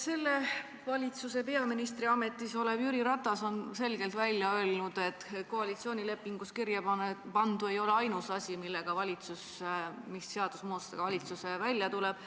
Selles valitsuses peaministri ametis olev Jüri Ratas on selgelt välja öelnud, et koalitsioonilepingus kirjapandu ei ole ainus asi, ainsad seadusemuudatused, millega valitsus välja tuleb.